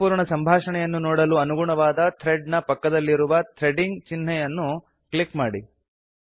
ಸಂಪೂರ್ಣ ಸಂಭಾಷಣೆಯನ್ನು ನೋಡಲು ಅನುಗುಣವಾದ ಥ್ರೆಡ್ ನ ಪಕ್ಕದಲ್ಲಿರುವ ಥ್ರೆಡಿಂಗ್ ಚಿನ್ಹೆಯನ್ನು ಕ್ಲಿಕ್ ಮಾಡಿ